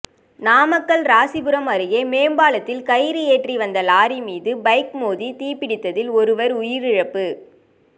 நாமக்கல் ராசிபுரம் அருகே மேம்பாலத்தில் கயிறு ஏற்றி வந்த லாரி மீது பைக் மோதி தீப்பிடித்ததில் ஒருவர் உயிரிழப்பு